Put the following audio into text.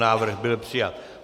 Návrh byl přijat.